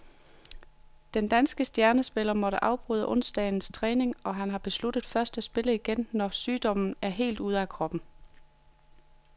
Den danske stjernespiller måtte afbryde onsdagens træning, og han har besluttet først at spille igen, når sygdommen er helt ude af kroppen.